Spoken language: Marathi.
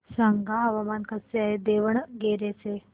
सांगा हवामान कसे आहे दावणगेरे चे